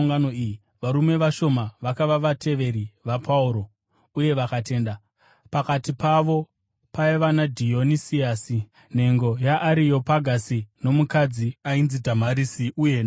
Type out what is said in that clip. Varume vashoma vakava vateveri vaPauro uye vakatenda. Pakati pavo paiva naDhionisiasi, nhengo yeAreopagasi nomukadzi ainzi Dhamarisi, uye navamwewo.